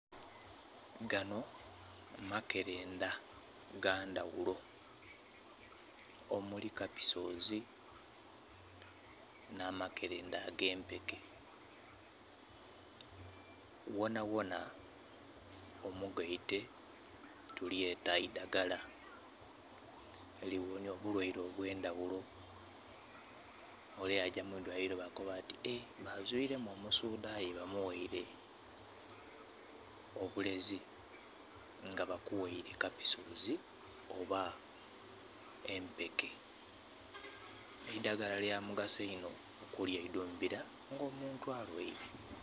Ganho makerendha gandhaghulo omuli kapisozi nha makerendha agempeke, ghona ghona omugaite tulyeta idhaggala erighonhya obulwaire obwe ndhaghulo. Ole yagya mwi lwaliro bakoba ati ee bamuzuiremu omusaadha aye bamughaire obulezi nga bakughaire kapisozi oba empeke. Eidhaggala lya mugaso inho okulidhumbila nga omuntu alwaire.